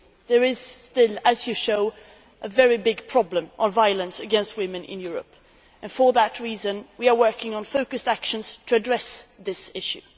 There is still, as you show, a very big problem of violence against women in Europe, and for that reason, we are working on focused actions to address this issue.